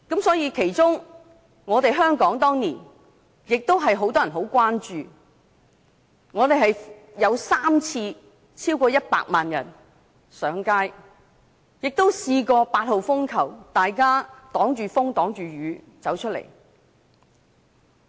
當年，香港也有很多人關注，曾有3次有超過100萬人上街，也有很多人在8號風球懸掛時冒着風雨走出來。